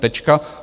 Tečka.